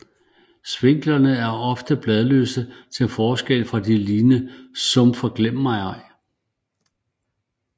Sviklerne er oftest bladløse til forskel fra den lignende sumpforglemmigej